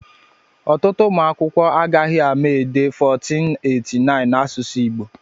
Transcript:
Ọtụtụ ụmụ akwụkwọ agaghị ama dee 1489 na asụsụ Igbo